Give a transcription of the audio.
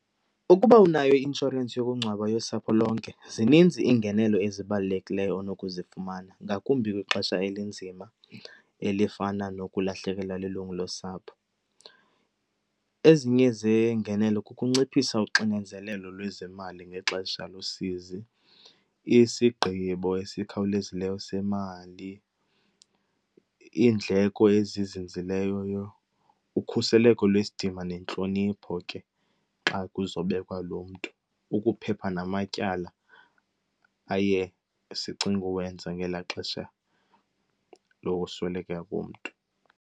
Ukuba unayo i-inshorensi yokungcwaba yosapho lonke zininzi iingenelo ezibalulekileyo onokuzifumana, ngakumbi kwixesha elinzima elifana nokulahlekelwa lilungu losapho. Ezinye zeengenelo kukunciphisa uxinezelelo lwezemali ngexesha losizi, isigqibo esikhawulezileyo semali, iindleko ezinzileyo, ukhuseleko lwesidima nentlonipho ke xa kuzobekwa lo mntu, ukuphepha namatyala aye sicinge uwenza ngelaa xesha lokusweleka komntu.